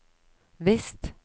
visst